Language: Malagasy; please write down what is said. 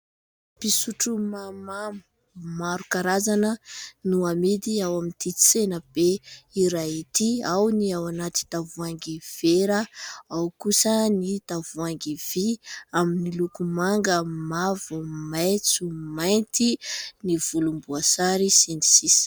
Fisotro mahamamo maro karazana no amidy ao amin'ity tsena be iray ity ; ao ny ao anaty tavoahangy vera, ao kosa ny tavoahangy vy ; amin'ny loko manga, mavo, maitso, mainty, ny volomboasary sy ny sisa.